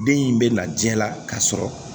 Den in bɛ na diɲɛ la kasɔrɔ